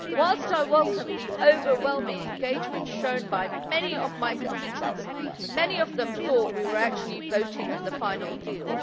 Whilst I welcome the overwhelming engagement shown by many of my constituents, many of them thought we were actually voting on the final deal.